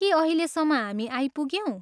के अहिलेसम्म हामी आइपुग्यौँ?